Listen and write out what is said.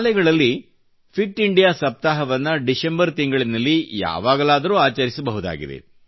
ಶಾಲೆಗಳಲ್ಲಿ fit India ಸಪ್ತಾಹವನ್ನು December ತಿಂಗಳಲ್ಲಿ ಯಾವಾಗಲಾದರೂ ಆಚರಿಸಬಹುದಾಗಿದೆ